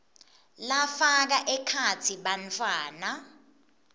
lafaka ekhatsi bantfwana